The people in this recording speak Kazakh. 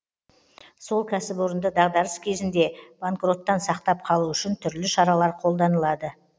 сол кәсіпорынды дағдарыс кезінде банкроттан сақтап қалу үшін түрлі шаралар қолданылады